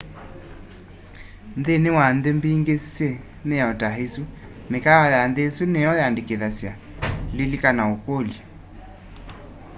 nthini wa nthi mbingi syi miao ta isu mikaawa ya nthi isu nimyo yandikithasya lilikana ukulya